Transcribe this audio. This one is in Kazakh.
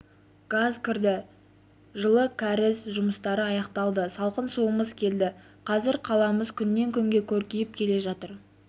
газ кірді жылы кәріз жұмыстары аяқталды салқын суымыз келді қазір қаламыз күннен-күнге көркейіп келе жатыр